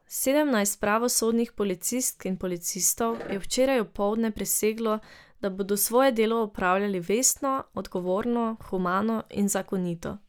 Sedemnajst pravosodnih policistk in policistov je včeraj opoldne priseglo, da bodo svoje delo opravljali vestno, odgovorno, humano in zakonito.